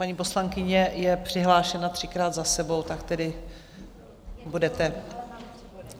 Paní poslankyně je přihlášena třikrát za sebou, tak tedy budete...